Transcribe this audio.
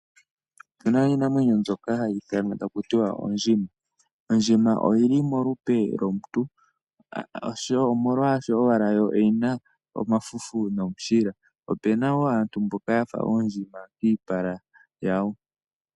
Opuna iinamwenyo mbyoka hayi ithanwa taku ti ondjima, ondjima oyili molupe lomuntu omolwaasho owala yo oyina omafufu nomushila. Opuna woo aantu mboka yafa oondjima kiipala yawo.